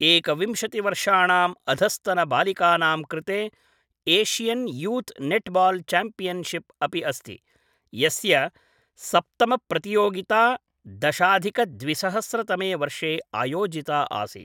एकविंशति वर्षाणाम् अधस्तन बालिकानां कृते Asian youth netball championship अपि अस्ति, यस्य सप्तमप्रतियोगिता दशाधिक द्विसहस्र तमे वर्षे आयोजिता आसीत्।